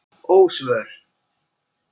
Ósvör